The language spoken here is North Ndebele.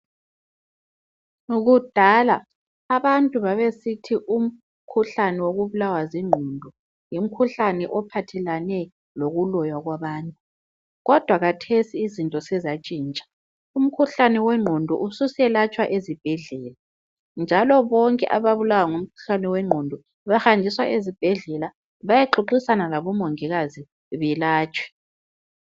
Kudala abantu babesithi umkhuhlane wokubulawa zinqondo yimkhuhlane ophathelane lokuloywa kwabantu kodwa khathesi izinto sezatshintsha umkhuhlane wenqondo ususelatshwa ezibhedlela njalo bonke ababulawa ngumkhuhlane wenqondo bahanjiswa ezibhedlela bayexoxisana labo mongikazi belatshwe.